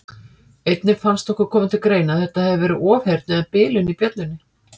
Einnig fannst okkur koma til greina að þetta hefði verið ofheyrn eða bilun í bjöllunni.